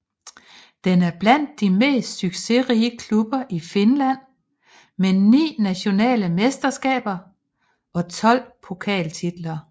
Den er blandt de mest succesrige klubber i Finland med ni nationale mesterskaber og 12 pokaltitler